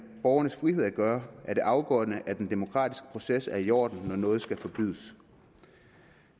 borgernes frihed at gøre er det afgørende at den demokratiske proces er i orden når noget skal forbydes